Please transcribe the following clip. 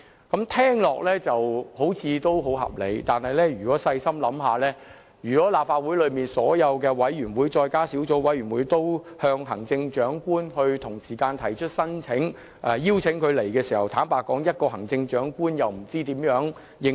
這聽起來好像很合理，但細心想想，如果立法會轄下所有委員會和小組委員會同時邀請行政長官出席其會議，行政長官怎能應付？